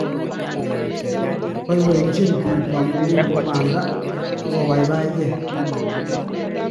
Boibochine biik kamung'e ne bo banda ak kobaibaigei.